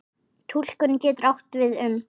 Túlkun getur átt við um